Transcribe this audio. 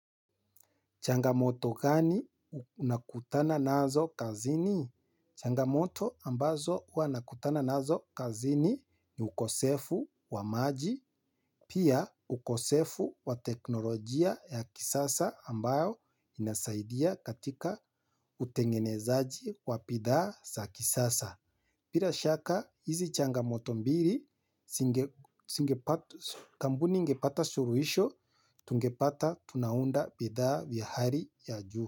Changamoto gani unakutana nazo kazini? Changamoto ambazo huwa nakutana nazo kazini ni ukosefu wa maji, pia ukosefu wa teknolojia ya kisasa ambayo inasaidia katika utengenezaji wa bidhaa sa kisasa. Bila shaka, hizi changamoto mbili, kampuni ingepata suluhisho, tungepata, tunaunda bidhaa vya hali ya juu.